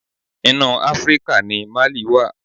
Inú Áfríkà ni Mali wà.